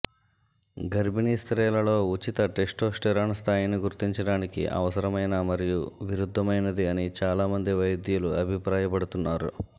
గర్భిణీ స్త్రీలలో ఉచిత టెస్టోస్టెరోన్ స్థాయిని గుర్తించడానికి అనవసరమైన మరియు విరుద్ధమైనది అని చాలామంది వైద్యులు అభిప్రాయపడుతున్నారు